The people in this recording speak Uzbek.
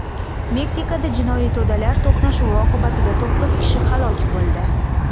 Meksikada jinoiy to‘dalar to‘qnashuvi oqibatida to‘qqiz kishi halok bo‘ldi.